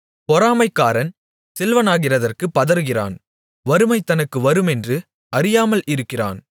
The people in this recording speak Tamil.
பொறாமைக்காரன் செல்வனாகிறதற்குப் பதறுகிறான் வறுமை தனக்கு வருமென்று அறியாமல் இருக்கிறான்